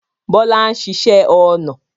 Bọlá ń ṣiṣẹ́ ọnà